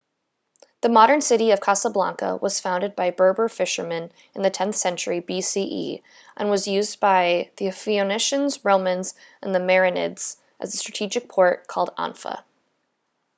the modern city of casablanca was founded by berber fishermen in the 10th century bce and was used by the phoenicians romans and the merenids as a strategic port called anfa